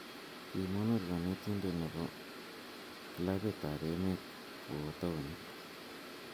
Kimonor konetinte ne bo klabit ab emet kowo taonit.